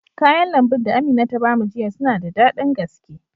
Kayan lambun da Amina ta ba mu jiya suna da daɗin gaske.